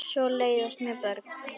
Og svo leiðast mér börn.